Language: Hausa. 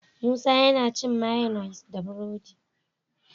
Musa yAna cin mayonnaise da buredi